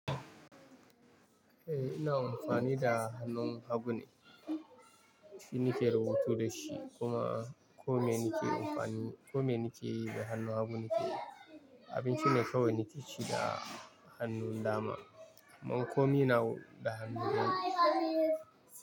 Eh ina amfani da hannun hagu ne, shi nike rubutu dashi kuma komai nike yi da hannun hagu nike yi. Abinci ne kawai nike ci da hannun dama, amman komai nawa da hannu hagu.